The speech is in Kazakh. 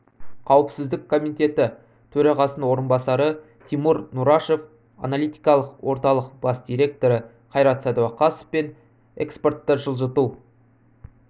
қауіпсіздік комитеті төрағасының орынбасары тимур нұрашев аналитикалық орталық бас директоры қайрат сәдуақасов пен экспортты жылжыту